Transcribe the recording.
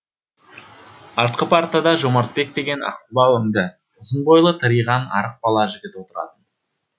артқы партада жомартбек деген аққұба өнді ұзын бойлы тыриған арық бала жігіт отыратын